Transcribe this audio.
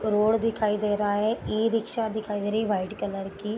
Road दिखाई दे रहा है ई-रिक्शा दिखाई दे रही है व्हाइट कलर की।